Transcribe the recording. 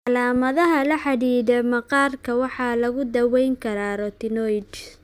Calaamadaha la xidhiidha maqaarka waxaa lagu daweyn karaa retinoids.